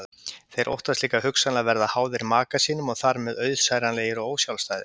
Þeir óttast líka hugsanlega að verða háðir maka sínum og þar með auðsæranlegir og ósjálfstæðir.